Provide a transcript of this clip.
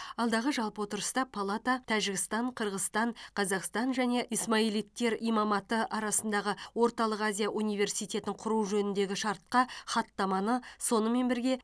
алдағы жалпы отырыста палата тәжікстан қырғызстан қазақстан және исмаилиттер имаматы арасындағы орталық азия университетін құру жөніндегі шартқа хаттаманы сонымен бірге